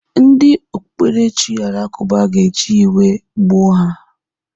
Ndị okpukperechi Alakụba ga-eji iwe gbuo ya.